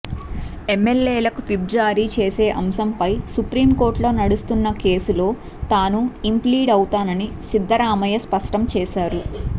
ఎమ్మెల్యేలకు విప్ జారీ చేసే అంశంపై సుప్రీంకోర్టులో నడుస్తున్న కేసులో తాను ఇంప్లీడ్ అవుతానని సిద్ధరామయ్య స్పష్టం చేశారు